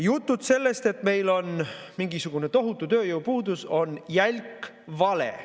Jutud sellest, et meil on mingisugune tohutu tööjõupuudus, on jälk vale.